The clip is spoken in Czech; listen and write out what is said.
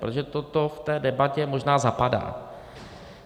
Protože toto v té debatě možná zapadá.